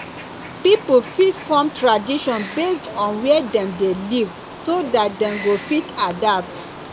pipo fit form tradition based on where dem de live so that dem go fit adapt